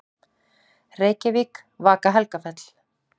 Reykjavík: Vaka-Helgafell.